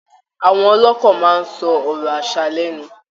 Àwọn ọlọ́kọ máa ń sọ ọ̀rọ̀ aṣa lẹẹ́nu